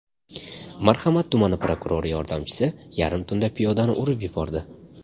Marhamat tumani prokurori yordamchisi yarim tunda piyodani urib yubordi.